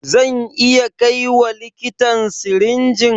Zan iya kaiwa likitan sirinjin?